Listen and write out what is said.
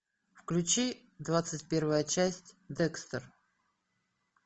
включи двадцать первая часть декстер